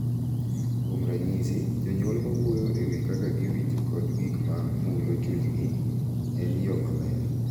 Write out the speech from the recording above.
Kuom ranyisi, jonyuol ma wuoyo e wi kaka giwinjo kod gik ma mulo chunygi e yo maler .